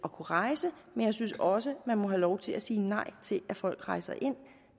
rejse men jeg synes også man må have lov til at sige nej til at folk rejser ind